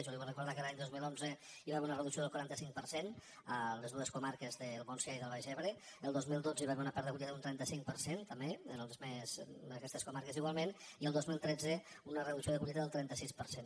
jo li vull recordar que l’any dos mil onze hi va haver una reducció del quaranta cinc per cent a les dues comarques del montsià i el baix ebre el dos mil dotze hi va haver una pèrdua de collita d’un trenta cinc per cent també en aquestes comarques igualment i el dos mil tretze una reducció de collita del trenta sis per cent